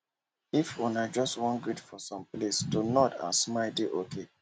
if una just wan greet for some place to nod and smile don dey ok